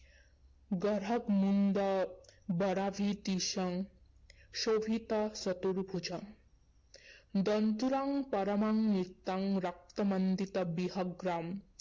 গ্ৰহকমুণ্ড বৰাভীতিসং শোভিত চতুৰ্ভুজাম। দণ্ডৰাং পৰমাং নিত্যাং ৰক্ত মণ্ডিত বিগ্ৰহাম।